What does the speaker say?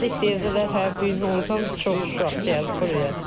Gəldik dedilər hə bu gün ordan çox uşaq gəlib buraya.